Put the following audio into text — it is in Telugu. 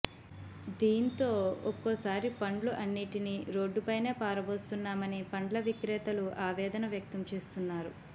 దీంతో ఒక్కోసారి పండ్లు అన్నింటిని రోడ్డుపైనే పారబోస్తున్నామని పండ్ల విక్రేతలు ఆవేదన వ్యక్తం చేస్తున్నారు